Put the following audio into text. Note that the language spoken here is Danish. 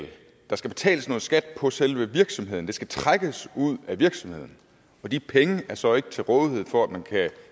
der skal betales noget skat på selve virksomheden det skal trækkes ud af virksomheden og de penge er så ikke til rådighed for at man kan